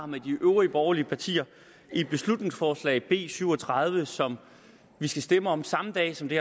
med de øvrige borgerlige partier i beslutningsforslag nummer b syv og tredive som vi skal stemme om samme dag som det